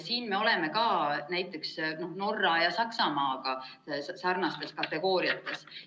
Siin me oleme ka näiteks Norra ja Saksamaaga sarnases kategoorias.